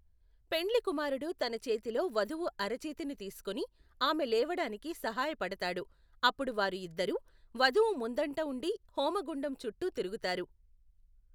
పెండ్లికుమారుడు తన చేతిలో వధువు అరచేతిని తీసుకొని ఆమె లేవడానికి సహాయపడతాడు, అప్పుడు వారు ఇద్దరూ, వధువు ముందంట ఉండి హోమగుండము చుట్టూ తిరుగుతారు.